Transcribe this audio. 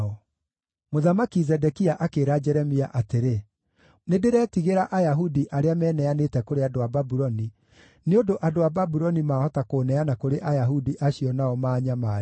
Mũthamaki Zedekia akĩĩra Jeremia atĩrĩ, “Nĩndĩretigĩra Ayahudi arĩa meneanĩte kũrĩ andũ a Babuloni, nĩ ũndũ andũ a Babuloni mahota kũũneana kũrĩ Ayahudi acio nao maanyamarie.”